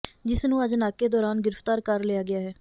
ਜਿਸ ਨੂੰ ਅੱਜ ਨਾਕੇ ਦੌਰਾਨ ਗ੍ਰਿਫ਼ਤਾਰ ਕਰ ਲਿਆ ਗਿਆ ਹੈ